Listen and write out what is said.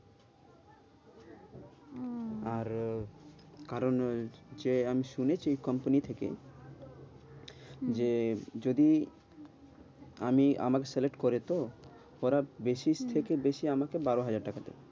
আরো, কারণ ওই যে আমি শুনেছি company থেকে যে যদি আমি আমাকে select করে তো ওরা বেশি থেকে বেশি আমাকে বারো হাজার টাকা দেবে।